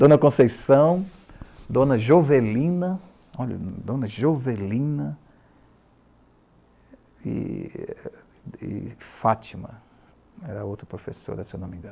Dona Conceição, Dona Jovelina, olha, Dona Jovelina e Fátima, era outra professora, se eu não me engano.